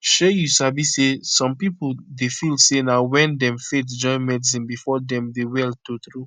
shey you sabi say some pipo dey feel say na wen dem faith join medicine before dem dey well true true